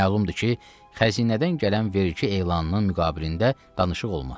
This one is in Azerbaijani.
Məlumdur ki, xəzinədən gələn vergi elanının müqabilində danışıq olmaz.